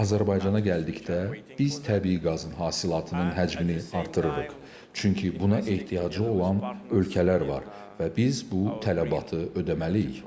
Azərbaycana gəldikdə, biz təbii qazın hasilatının həcmini artırırıq, çünki buna ehtiyacı olan ölkələr var və biz bu tələbatı ödəməliyik.